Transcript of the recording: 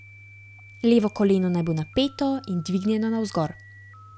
Levo koleno naj bo napeto in dvignjeno navzgor.